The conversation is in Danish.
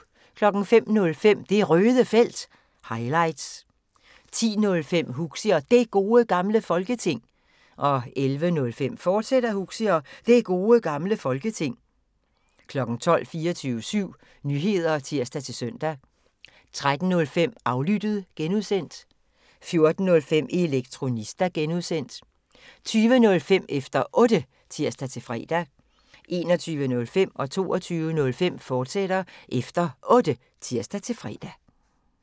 05:05: Det Røde Felt – highlights 10:05: Huxi og Det Gode Gamle Folketing 11:05: Huxi og Det Gode Gamle Folketing, fortsat 12:00: 24syv Nyheder (tir-søn) 13:05: Aflyttet (G) 14:05: Elektronista (G) 20:05: Efter Otte (tir-fre) 21:05: Efter Otte, fortsat (tir-fre) 22:05: Efter Otte, fortsat (tir-fre)